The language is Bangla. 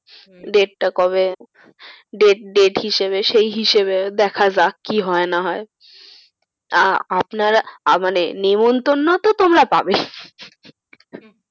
Date টা কবে? date হিসেবে সেই হিসেবে দেখা যাক কি হয় না হয় আহ আপনারা আহ মানে নিমন্তন্ন তো তোমরা পাবেই,